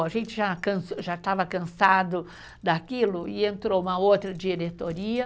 A gente já cansou,,, Já estava cansado daquilo e entrou uma outra diretoria.